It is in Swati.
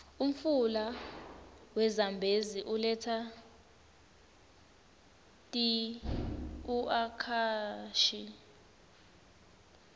umfula we zambezi uletsa tiuakashi